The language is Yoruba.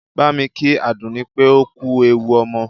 Bámi kí Àdùnní pé ó kú ewu ọmọ!